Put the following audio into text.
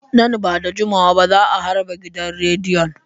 Nan ba da jimawa ba za a harbe gidan rediyon.